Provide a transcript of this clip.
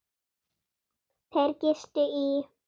Þeir gistu í